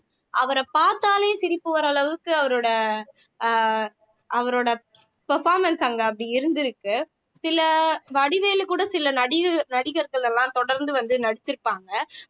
அவரை பார்த்தாலே சிரிப்பு வர அளவுக்கு அவரோட அஹ் அவரோட performance அங்க அப்படி இருந்திருக்கு சில வடிவேலு கூட சில நநடிகர் டிகர்கள் எல்லாம் தொடர்ந்து வந்து நடிச்சிருக்காங்க